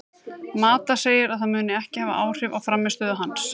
Mata segir að það muni ekki hafa áhrif á frammistöðu hans.